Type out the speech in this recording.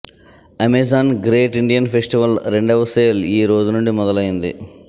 Amazon great Indian festival రెండవ sale ఈ రోజు నుండి మొదలయ్యింది